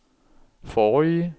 forrige